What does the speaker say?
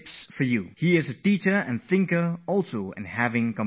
He is a teacher and a thinker, and for this reason what he has to say is a blend of both